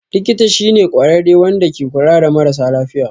Likita shi ne kwarare Wanda ke kula da mara sa lafiya.